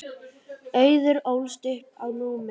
Auður ólst upp á Núpi.